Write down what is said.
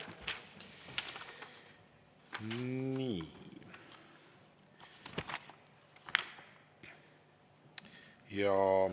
Nii.